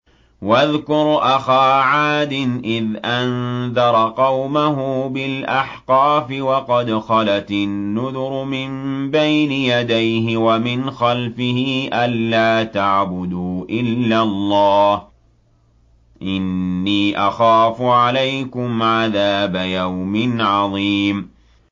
۞ وَاذْكُرْ أَخَا عَادٍ إِذْ أَنذَرَ قَوْمَهُ بِالْأَحْقَافِ وَقَدْ خَلَتِ النُّذُرُ مِن بَيْنِ يَدَيْهِ وَمِنْ خَلْفِهِ أَلَّا تَعْبُدُوا إِلَّا اللَّهَ إِنِّي أَخَافُ عَلَيْكُمْ عَذَابَ يَوْمٍ عَظِيمٍ